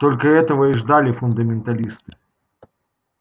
только этого и ждали фундаменталисты